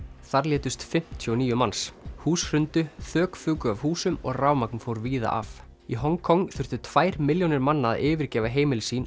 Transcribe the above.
þar létust fimmtíu og níu manns hús hrundu þök fuku af húsum og rafmagn fór víða af í Hong Kong þurftu tvær milljónir manna að yfirgefa heimili sín